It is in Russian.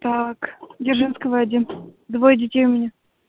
так дзержинского один двое детей у меня